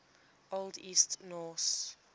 old east norse